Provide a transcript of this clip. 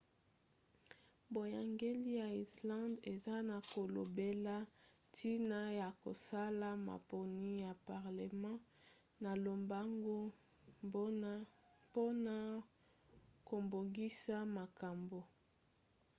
boyangeli ya irlande eza na kolobela ntina ya kosala maponi ya parlema na lombango mpona kobongisa makambo